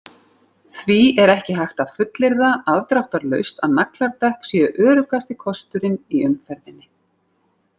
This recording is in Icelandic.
Því er ekki hægt að fullyrða afdráttarlaust að nagladekk séu öruggasti kosturinn í umferðinni.